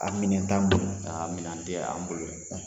A minɛ t'an bolo, a minɛn tɛ an bolo sisan.